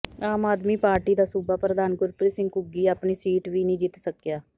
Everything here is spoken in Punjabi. ਆਮ ਆਦਮੀ ਪਾਰਟੀ ਦਾ ਸੂਬਾ ਪ੍ਰਧਾਨ ਗੁਰਪ੍ਰੀਤ ਸਿੰਘ ਘੁੱਗੀ ਆਪਣੀ ਸੀਟ ਵੀ ਨਹੀਂ ਜਿੱਤ ਸਕਿਆ